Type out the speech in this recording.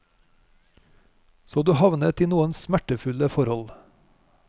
Så du havnet i noen smertefulle forhold.